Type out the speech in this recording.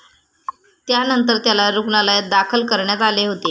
त्यानंतर त्याला रुग्णालयात दाखल करण्यात आले होते.